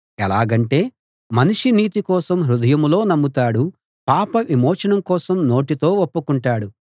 ఎలాగంటే మనిషి నీతి కోసం హృదయంలో నమ్ముతాడు పాప విమోచన కోసం నోటితో ఒప్పుకుంటాడు